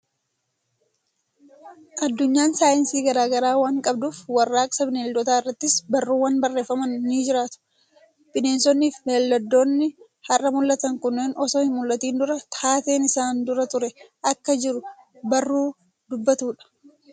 Addunyaan saayinsii garaa garaa waan qabduuf warraaqsa bineeldotaa irrattis barruuwwan barreeffaman ni jiraatu. Bineensonnii fi bineeldonni har'a mul'atan kunneen osoo hin mul'atin duraa taateen isaan dura ture akka jiru barruu dubbatudha.